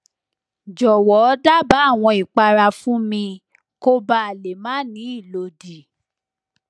jowo daba awon ipara fun mi koba le ma ni ilodi